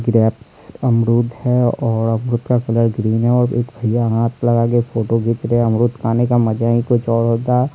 Grapes अमरुद है और अमरुद का कलर ग्रीन है और एक भैया हाथ लगा के फोटो खींच रहे है अमरुद खाने का मजा ही कुछ और होता है।